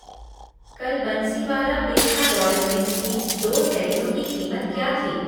कल Bansiwala Petha royal mix की दो थैलियों की कीमत क्या थी?